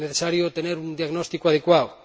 Es necesario tener un diagnóstico adecuado